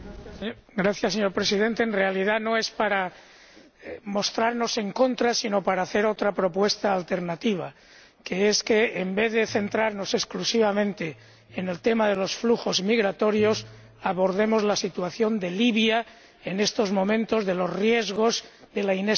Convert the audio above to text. Señor Presidente, en realidad no es que queramos mostrarnos en contra, sino hacer otra propuesta alternativa para que, en vez de centrarnos exclusivamente en el tema de los flujos migratorios, abordemos la situación de Libia en estos momentos, los riesgos de la inestabilidad,